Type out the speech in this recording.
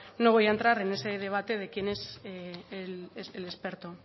no voy a entrar en ese debate de quién es el experto